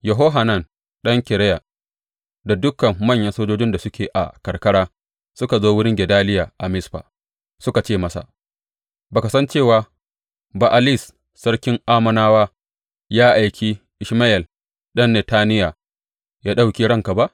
Yohanan ɗan Kareya da dukan manyan sojoji da suke a karkara suka zo wurin Gedaliya a Mizfa suka ce masa, Ba ka san cewa Ba’alis sarkin Ammonawa ya aiki Ishmayel ɗan Netaniya ya ɗauke ranka ba?